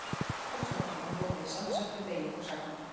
Hjálparsögnin er notuð í samsettri beygingu sagnar.